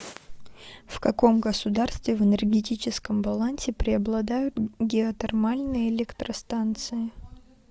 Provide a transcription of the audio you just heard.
в каком государстве в энергетическом балансе преобладают геотермальные электростанции